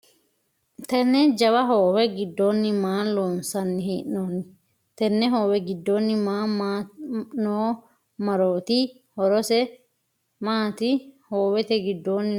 Tenne jawa hoowe gidoonni maa loonsanni hee'noonni? Tenne hoowe gidoonni noo maroti horose maati? Hoowete gidoonni noo hayiso mayira mooltino?